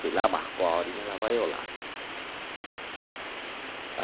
Fui lá, marcou a horinha, lá vai eu lá.